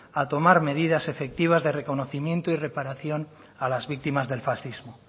a tomar medidas efectivas de reconocimiento y reparación a las víctimas del fascismo